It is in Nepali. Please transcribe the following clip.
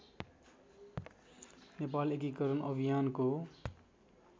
नेपाल एकीकरण अभियानको